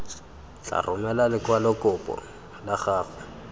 tla romela lekwalokopo la gago